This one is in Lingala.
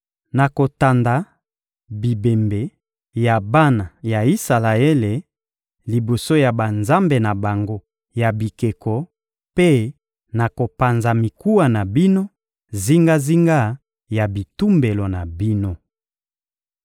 Nakotanda bibembe ya bana ya Isalaele liboso ya banzambe na bango ya bikeko mpe nakopanza mikuwa na bino zingazinga ya bitumbelo na bino.